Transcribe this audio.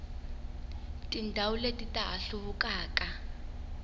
tindhawu leti ta ha hluvukaka